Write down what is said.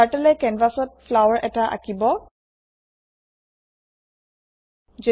Turtleএ কেনভেছত ফ্লাৱাৰ এটা আকিঁব